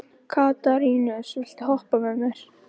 Katarínus, viltu hoppa með mér?